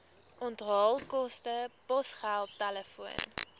onthaalkoste posgeld telefoon